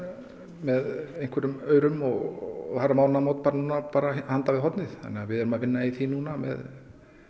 með einhverjum aurum og það eru mánaðamót bara núna handan við hornið þannig að við erum að vinna í því núna með